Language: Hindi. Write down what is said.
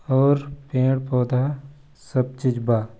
और पेड़-पौधा सब चीज बा।